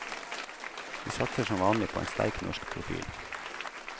Vi satser som vanlig på en sterk norsk profil.